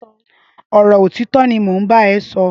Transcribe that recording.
Ọrọ ọtitọ ni mó n bà ẹ̀ sọ